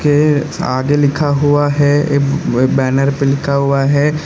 ये आगे लिखा हुआ है एक बैनर पर लिखा हुआ है।